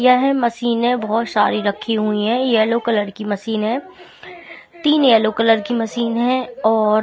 यह मशीनें बहुत सारी रखी हैं येलो कलर की मशीन है तीन येलो कलर की मशीन है और --